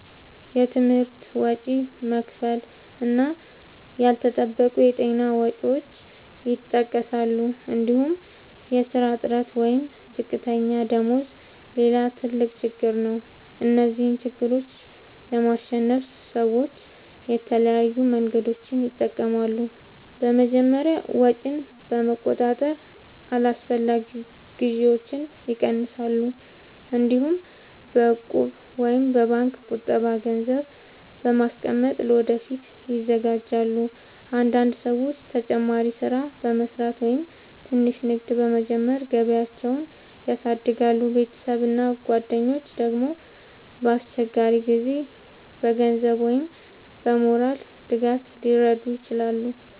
የትምህርት ወጪ መክፈል እና ያልተጠበቁ የጤና ወጪዎች ይጠቀሳሉ። እንዲሁም የሥራ እጥረት ወይም ዝቅተኛ ደመወዝ ሌላ ትልቅ ችግር ነው። እነዚህን ችግሮች ለማሸነፍ ሰዎች የተለያዩ መንገዶችን ይጠቀማሉ። በመጀመሪያ ወጪን በመቆጣጠር አላስፈላጊ ግዢዎችን ይቀንሳሉ። እንዲሁም በእቁብ ወይም በባንክ ቁጠባ ገንዘብ በማስቀመጥ ለወደፊት ይዘጋጃሉ። አንዳንድ ሰዎች ተጨማሪ ሥራ በመስራት ወይም ትንሽ ንግድ በመጀመር ገቢያቸውን ያሳድጋሉ። ቤተሰብ እና ጓደኞች ደግሞ በአስቸጋሪ ጊዜ በገንዘብ ወይም በሞራል ድጋፍ ሊረዱ ይችላሉ።